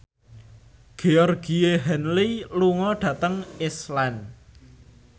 Georgie Henley lunga dhateng Iceland